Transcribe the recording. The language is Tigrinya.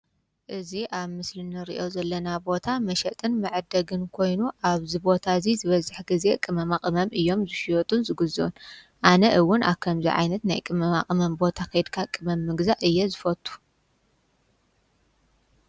እዚ ኣብ ምስሊ እንሪአ ዘለና ቦታ መሸጥን መዐደጊን ኮይኑ ኣብዚ ቦታ እዚ ዝበዝሕ ግዜ ቅመማ ቅመም እዮም ዝሽየጡን ዝግዝኡን፡፡ ኣነ እውን ኣብ ከምዚ ዓይነት ናይ ቅመማቅመም ቦታ ከይድካ ቅመም ምግዛእ እየ ዝፈቱ፡፡